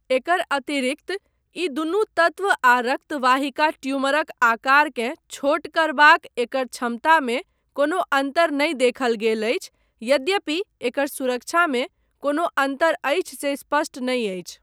एकर अतिरिक्त, ई दुनू तत्व आ रक्तवाहिका ट्यूमरक आकारकेँ छोट करबाक एकर क्षमतामे कोनो अन्तर नहि देखल गेल अछि, यद्यपि एकर सुरक्षामे कोनो अन्तर अछि से स्पष्ट नहि अछि।